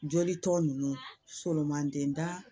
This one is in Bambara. Joli tɔ nunnu solomandan